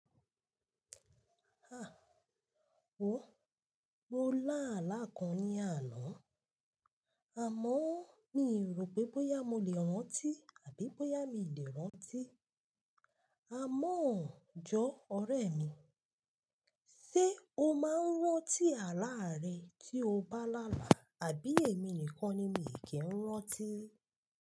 Ah! O, mo lá àlá kan ní àná, àmọ́ mi rò pé bóyá mo lè rántí àbí bóyá mi lè rántí. Àmọ́ jọ́ ọ̀rẹ́ mi, ṣe o máa ń rántí àlá rẹ tí o bá lálà á àbí èmi nìkan ni mi kì ń rántí?